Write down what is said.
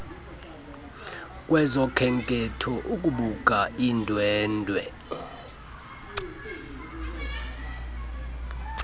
kwezokhenketho ukubuka iindwendwe